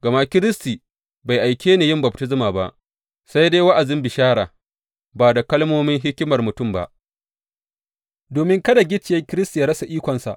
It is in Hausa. Gama Kiristi bai aike ni yin baftisma ba, sai dai wa’azin bishara ba da kalmomin hikimar mutum ba, domin kada gicciyen Kiristi ya rasa ikonsa.